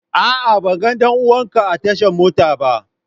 A'a ban ga danuwan ka a tashan motan ba.